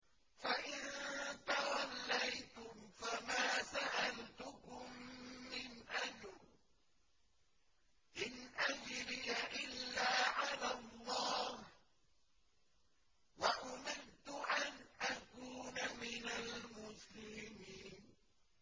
فَإِن تَوَلَّيْتُمْ فَمَا سَأَلْتُكُم مِّنْ أَجْرٍ ۖ إِنْ أَجْرِيَ إِلَّا عَلَى اللَّهِ ۖ وَأُمِرْتُ أَنْ أَكُونَ مِنَ الْمُسْلِمِينَ